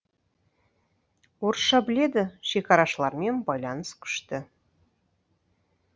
орысша біледі шекарашылармен байланыс күшті